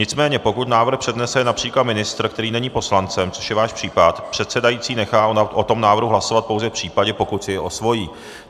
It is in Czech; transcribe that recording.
Nicméně pokud návrh přednese například ministr, který není poslancem, což je váš případ, předsedající nechá o tom návrhu hlasovat pouze v případě, pokud si jej osvojí.